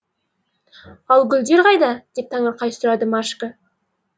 ал гүлдер қайда деп таңырқай сұрады машка